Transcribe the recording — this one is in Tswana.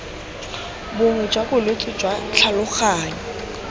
bongwe jwa bolwetse jwa tlhaloganyo